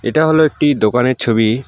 এটা হল একটি দোকানের ছবি।